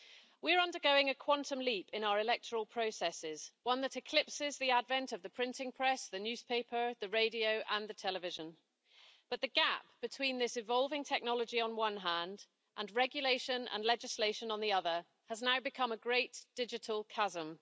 We are undergoing a quantum leap in our electoral processes, one that eclipses the advent of the printing press, the newspaper, the radio and the television, but the gap between this evolving technology, on the one hand, and regulation and legislation on the other, has now become a great digital chasm.